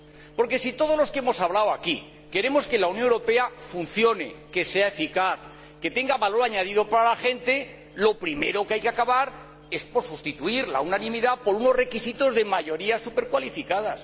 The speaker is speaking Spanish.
Porque si todos los que hemos hablado aquí queremos que la Unión Europa funcione, que sea eficaz, que tenga valor añadido para la gente, lo primero que hay que hacer es sustituir la unanimidad por unos requisitos de mayorías supercualificadas.